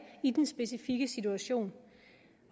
i den specifikke situation